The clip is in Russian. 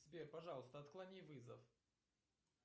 сбер пожалуйста отклони вызов